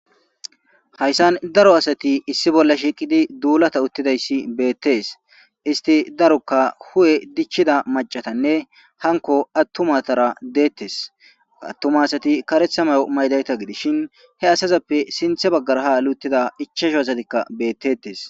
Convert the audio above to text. Haysan daro asati issi bola shiqidi dulata otidaysi betes hiti daroka hu'e dichida mac'atane hanko atumatara detes ha atuma asati karetha mayo maydayta gidishin he asazepe sinte bagara ha hanli utida ichachu asatika betetes.